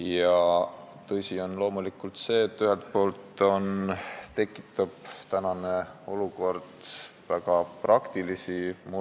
Ja tõsi on loomulikult seegi, et praegune olukord tekitab väga praktilisi probleeme.